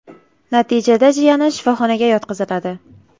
Natijada jiyani shifoxonaga yotqiziladi.